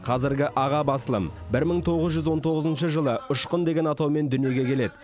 қазіргі аға басылым бір мың тоғыз жүз он тоғызыншы жылы ұшқын деген атаумен дүниеге келеді